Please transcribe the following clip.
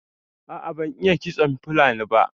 A'a ban iya ƙitson fulani ba.